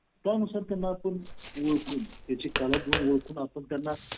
ते कुठे त्यांच्या लक्षातच राहत नाही.